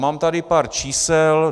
Mám tady pár čísel.